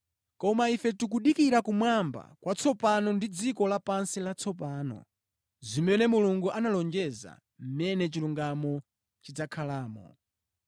Koma ife tikudikira kumwamba kwatsopano ndi dziko lapansi latsopano, zimene Mulungu analonjeza, mʼmene chilungamo chidzakhalamo.